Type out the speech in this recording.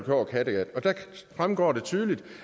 over kattegat der fremgår det tydeligt